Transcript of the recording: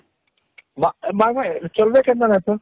ନ ନାଇଁ ନାଇଁ ଚଲବେ କେନ୍ତା ନାଇଁ କହତ